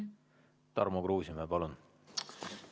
Tarmo Kruusimäe, palun!